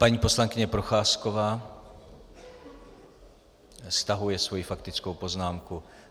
Paní poslankyně Procházková stahuje svoji faktickou poznámku.